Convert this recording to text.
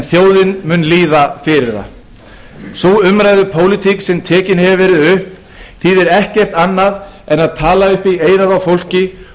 þjóðin mun bíða fyrir það sú umræðu pólitík sem tekin hefur verið upp þýðir ekkert annað en að tala upp í eyrað á fólki